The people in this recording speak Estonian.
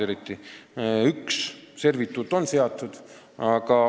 Vaid üks servituut on seatud.